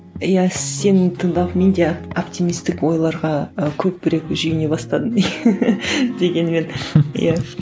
иә сені тыңдап мен де оптимистік ойларға і көбірек бастадым дегенмен иә